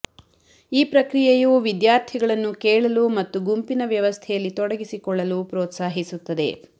ಈ ಪ್ರಕ್ರಿಯೆಯು ವಿದ್ಯಾರ್ಥಿಗಳನ್ನು ಕೇಳಲು ಮತ್ತು ಗುಂಪಿನ ವ್ಯವಸ್ಥೆಯಲ್ಲಿ ತೊಡಗಿಸಿಕೊಳ್ಳಲು ಪ್ರೋತ್ಸಾಹಿಸುತ್ತದೆ